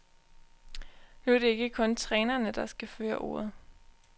Nu er det ikke kun trænerne, der skal føre ordet.